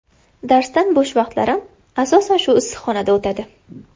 Darsdan bo‘sh vaqtlarim asosan shu issiqxonada o‘tadi.